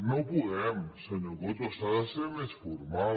no podem senyor coto s’ha de ser més formal